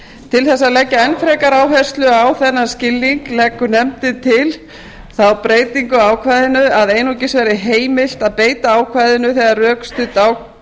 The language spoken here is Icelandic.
til þess að leggja enn frekari áherslu á þennan skilning leggur nefndin til þá breytingu á ákvæðinu að einungis verði heimilt að beita ákvæðinu þegar rökstudd